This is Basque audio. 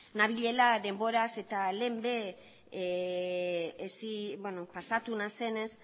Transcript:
nabilela denboraz eta lehen ere pasatu nazenez